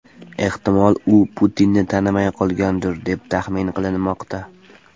Ehtimol, u Putinni tanimay qolgandir, deb tahmin qilinmoqda.